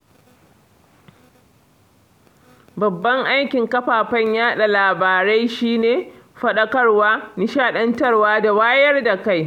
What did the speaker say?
Babban aikin kafafen yaɗa labarai shi ne, faɗakarwa, nishaɗantarwa da wayar da kai